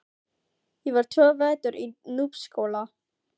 Ég var tvo vetur í Núpsskóla.